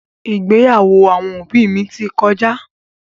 ìgbéyàwó àwọn òbí mi ti kọjá.